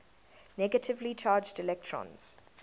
negatively charged electrons